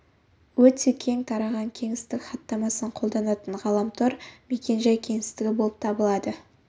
өте кең тарған кеңістік хаттамасын қолданатын ғаламтор мекен-жай кеңістігі болып табылады